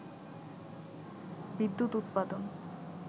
বিদ্যুৎ উৎপাদন